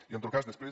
i en tot cas després